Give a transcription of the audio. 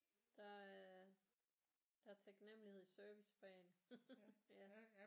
Der er der er taknemmelighed i servicefagene ja